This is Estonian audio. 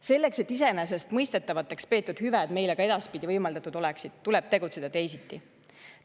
Selleks et iseenesestmõistetavaks peetud hüved meile ka edaspidi võimaldatud oleksid, tuleb tegutseda teisiti.